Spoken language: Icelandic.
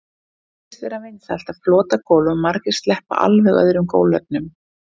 það virðist vera vinsælt að flota gólf og margir sleppa alveg öðrum gólfefnum